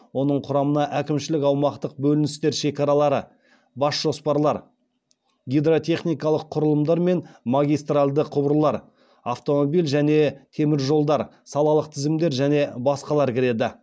оның құрамына әкімшілік аумақтық бөліністер шекаралары бас жоспарлар гидротехникалық құрылымдар мен магистралды құбырлар автомобиль және темір жолдар салалық тізілімдер және басқалар кіреді